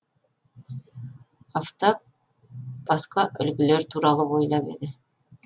афтап басқа үлгілер туралы ойлап еді